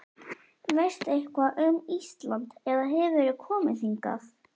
Veistu eitthvað um Ísland eða hefurðu komið hingað?